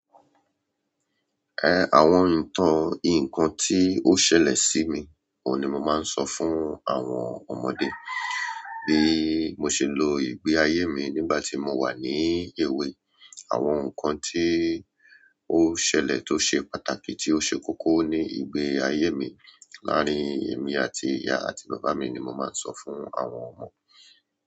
Ẹ àwọn ìtàn ǹkan tí ó ṣẹlẹ̀ sí mi òní mo máa ń sọ fún àwọn ọmọdé. Bi mó ṣe lo ìgbé ayé mi ni gbà ti mo wa ni ewé àwọn nkán tó ṣẹlẹ̀ to ṣé pàtàkì tí o ṣe kókó ni ìgbé ayé mi láàrin èmi àti ìyá àti bàbá mi ni mo máa sọ fún àwọn ọmọ.